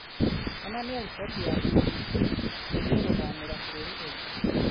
onania riboti ya b. b. c. ĩgiĩ gũthamira bururi ungi